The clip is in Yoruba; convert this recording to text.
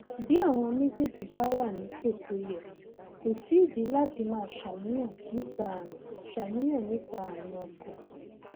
bí àwọn méjèèjì bá wà nípò tó yẹ kò sídìí láti máa ṣàníyàn nípa ààrùn ṣàníyàn nípa ààrùn ọkàn